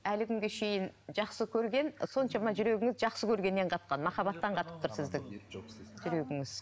әлі күнге шейін жақсы көрген соншама жүрегіңіз жақсы көргеннен қатқан махаббаттан қатып тұр сіздікі жүрегіңіз